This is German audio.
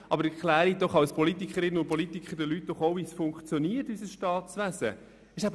Aber erklären Sie doch als Politikerinnen und Politiker den Leuten auch, wie unser Staatswesen funktioniert.